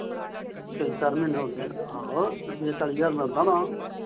ਤਿੰਨ ਚਾਰ ਮਹੀਨੇ ਹੋ ਗਏ ਆ ਆਹੋ ਚਾਲੀ ਹਜ਼ਾਰ ਮਿਲਦਾ ਨਾਲ।